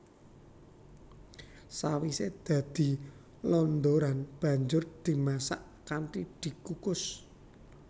Sawisé dadi londoran banjur dimasak kanthi dikukus